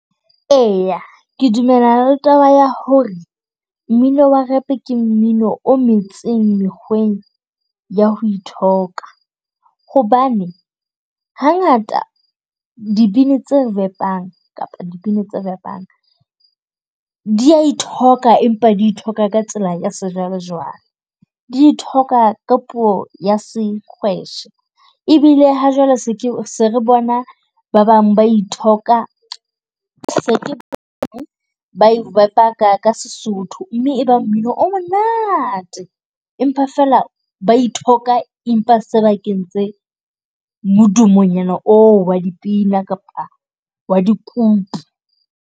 E, ke dumellana le taba ya hore mmino wa rap ke mmino o metseng mekgweng ya ho ithoka. Hobane hangata dibini tse re repang kapa dibini tse rap-ang di a ithoka empa di ithoka ka tsela ya sejwalejwale, di ithoka ka puo ya Senkgweshe. Ebile ha jwale se re bona ba bang ba ithoka se ke ka Sesotho mme ba mmino o monate. Empa feela ba ithoka, empa se ba kentse modumonyana oo wa dipina kapa wa dikupu.